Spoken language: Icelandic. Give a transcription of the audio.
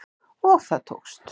Og það tókst